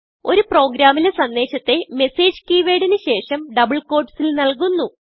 ഒരു പ്രോഗ്രാമിലെ സന്ദേശത്തെ മെസേജ് കീവേർഡ് ന് ശേഷം ഡബിൾ quotesൽ നല്കുന്നു